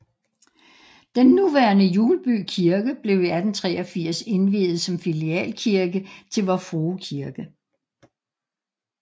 Den nuværende Hjulby Kirke blev i 1883 indviet som filialkirke til Vor Frue Kirke